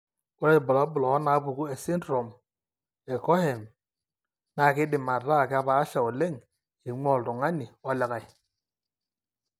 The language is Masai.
Ore irbulabul onaapuku esindirom eCohen keidim ataa kepaasha oleng eing'ua oltung'ani olikae.